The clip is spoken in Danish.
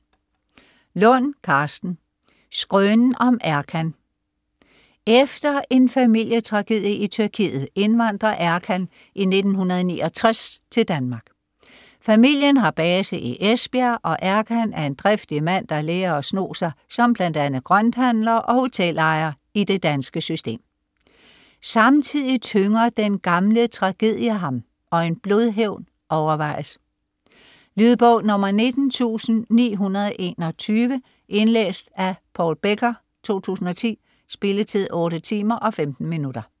Lund, Karsten: Skrønen om Erkan Efter en familietragedie i Tyrkiet indvandrer Erkan i 1969 til Danmark. Familien har base i Esbjerg, og Erkan er en driftig mand, der lærer at sno sig som bl.a. grønthandler og hotelejer i det danske system. Samtidig tynger den gamle tragedie ham, og en blodhævn overvejes. Lydbog 19921 Indlæst af Paul Becker, 2010. Spilletid: 8 timer, 15 minutter.